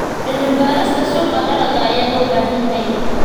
Cilmi-baarista suuqa dalagga ayaa loo baahan yahay.